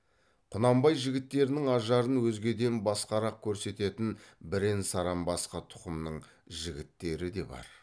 құнанбай жігіттерінің ажарын өзгеден басқарақ көрсететін бірен саран басқа тұқымның жігіттері де бар